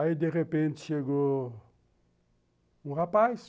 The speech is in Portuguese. Aí de repente chegou um rapaz.